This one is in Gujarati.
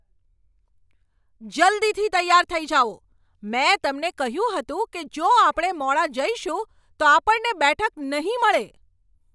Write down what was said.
જલ્દીથી તૈયાર થઈ જાઓ! મેં તમને કહ્યું હતું કે જો આપણે મોડા જઈશું તો આપણને બેઠક નહીં મળે.